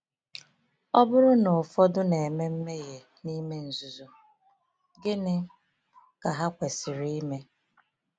Ọ bụrụ na ụfọdụ na-eme mmehie n’ime nzuzo, gịnị ka ha kwesịrị ime?